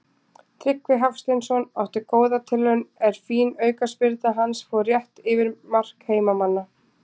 Tryggvi Hafsteinsson átti góða tilraun er fín aukaspyrna hans fór rétt yfir mark heimamanna.